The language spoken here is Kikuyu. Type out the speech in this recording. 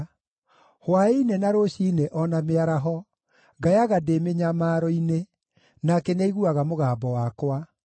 Hwaĩ-inĩ, na rũciinĩ, o na mĩaraho, ngayaga ndĩ mĩnyamaro-inĩ, nake nĩaiguaga mũgambo wakwa.